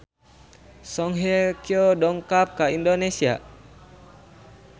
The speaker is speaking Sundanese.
Song Hye Kyo dongkap ka Indonesia